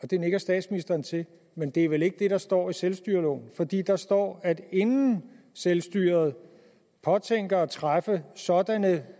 det nikker statsministeren til men det er vel ikke det der står i selvstyreloven for der står at inden selvstyret påtænker at træffe sådanne